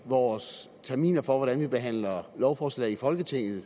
vores terminer for hvordan vi behandler lovforslag i folketinget